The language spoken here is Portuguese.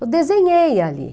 Eu desenhei ali.